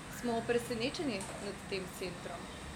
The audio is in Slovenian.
Smo presenečeni nad tem centrom.